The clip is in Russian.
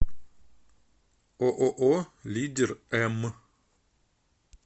ооо лидер м